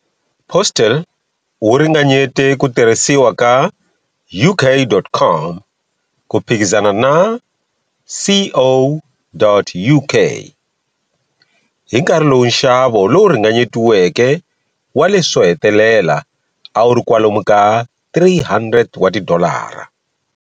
Postel u ringanyete ku tirhisiwa ka.UK.COM ku phikizana na.CO.UK, hi nkarhi lowu nxavo lowu ringanyetiweke wa leswi swo hetelela a wu ri kwalomu ka 300 wa tidolara.